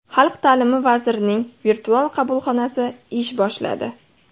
Xalq ta’limi vazirining virtual qabulxonasi ish boshladi.